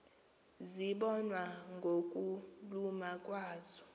zibonwa ngokuluma kwazo